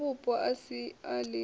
divhavhupo a si a lino